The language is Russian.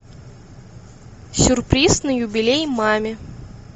сюрприз на юбилей маме